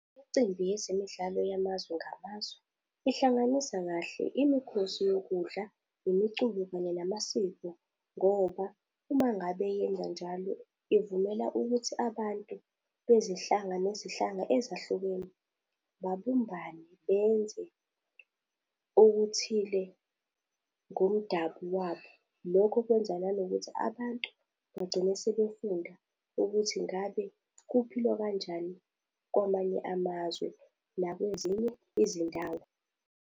Imicimbi yezemidlalo yamazwe ngamazwe, ihlanganisa kahle imikhosi yokudla, nemiculo kanye namasiko, ngoba uma ngabe yenzanjalo ivumela ukuthi abantu bezihlanga nezihlanga ezahlukene babumbane benze okuthile ngomdabu wabo. Lokho kwenza nanokuthi abantu bagcine sebefunda ukuthi ngabe kuphilwa kanjani kwamanye amazwe nakwezinye izindawo.